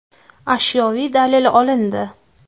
Ashyoviy dalil olindi.